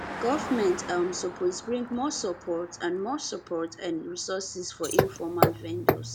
government um suppose bring more support and more support and resources for informal vendors